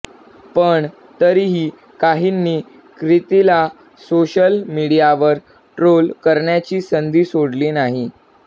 पण तरीही काहींनी क्रितीला सोशल मीडियावर ट्रोल करण्याची संधी सोडली नाही